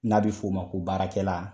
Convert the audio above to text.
N'a be f'o ma ko baarakɛla la